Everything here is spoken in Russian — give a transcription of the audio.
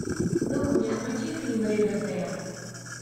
ну ка мне включи фильм ривердейл